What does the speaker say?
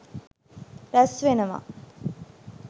රැස් වෙනවා.